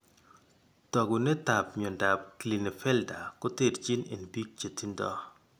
Taakunetaab myondap Klinefelter koterchin en biik chetindo.